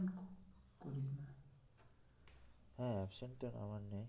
হ্যাঁ absent টা আমার নেই